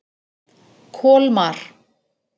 Kolmar